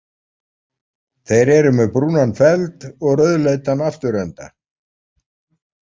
Þeir eru með brúnan feld og rauðleitan afturenda.